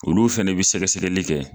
Olu fana bɛ sɛgɛsɛgɛli kɛ